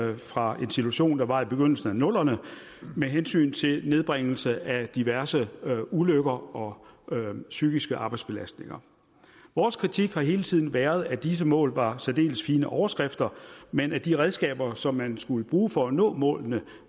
er fra en situation der var i begyndelsen af nullerne med hensyn til nedbringelse af diverse ulykker og psykiske arbejdsbelastninger vores kritik har hele tiden været at disse mål var særdeles fine overskrifter men at de redskaber som man skulle bruge for at nå målene